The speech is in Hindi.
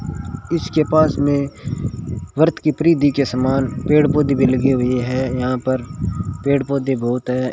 इसके पास में वृत के परिधि के समान पेड़ पौधे भी लगे हुए हैं यहां पर पेड़ पौधे बहुत हैं।